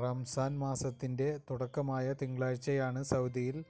റംസാന് മാസത്തിന്റെ തുടക്കമായ തിങ്കളാഴ്ചയാണ് സൌദിയില്